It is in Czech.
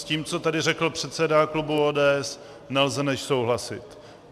S tím, co tady řekl předseda klubu ODS, nelze než souhlasit.